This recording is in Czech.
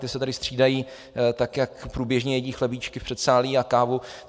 Ti se tady střídají, tak jak průběžně jedí chlebíčky v předsálí a kávu.